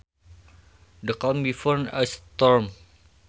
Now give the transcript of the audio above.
The calm before a storm